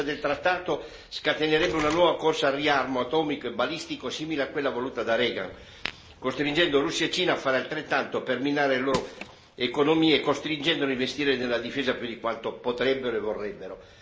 La denuncia del trattato scatenerebbe una nuova corsa al riarmo atomico e balistico simile a quella voluta da Reagan, costringendo Russia e Cina a fare altrettanto per minare le loro economie, costringendole a investire nella difesa più di quanto potrebbero e vorrebbero.